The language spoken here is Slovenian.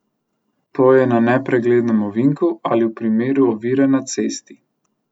To je na nepreglednem ovinku ali v primeru ovire na cesti.